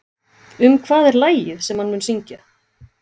Um hvað er lagið sem hann mun syngja?